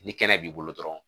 Ni kɛnɛ b'i bolo dɔrɔn